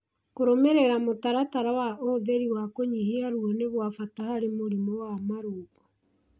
Kũrũmĩrĩra mũtaratara wa ũhũthĩri wa kũnyihia ruo nĩ gwa bata harĩ mũrimũ wa marũngo